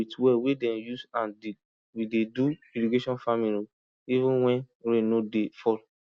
with well wey dem use hand dig we dey do irrigation farming o even when rain no dey fall